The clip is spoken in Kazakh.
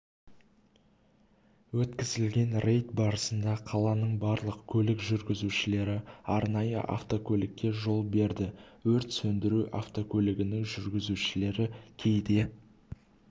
өткізілген рейд барысында қаланың барлық көлік жүргізушілері арнайы автокөлікке жол берді өрт сөндіру автокөлігінің жүргізушілері кейде